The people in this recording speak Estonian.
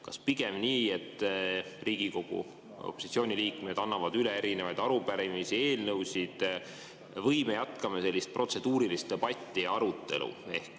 Kas pigem nii, et Riigikogu opositsiooni liikmed annavad üle erinevaid arupärimisi ja eelnõusid, või me jätkame sellist protseduurilist debatti ja arutelu?